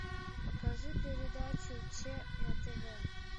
покажи передачу че на тв